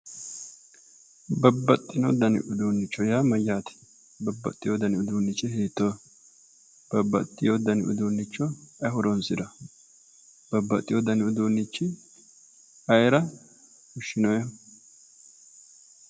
Babbaxino dani uduunnicho yaa mayyaate? babbaxewo dani uduunnichi hiittooho? babbaxewo dani uduunnicho ayi horoonsirawo? babbaxewo dani uduunnichi ayeera fushshinooyiiho?